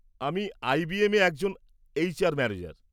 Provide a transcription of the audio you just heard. আমি আই বি এমে একজন এইচআর ম্যানেজার।